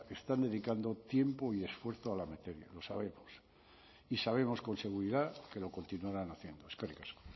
están dedicando tiempo y esfuerzo a la materia lo sabemos y sabemos con seguridad que lo continuarán haciendo eskerrik asko